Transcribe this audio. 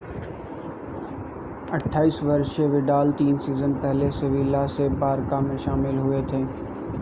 28 वर्षीय विडाल तीन सीजन पहले सेविला से बारका में शामिल हुए थे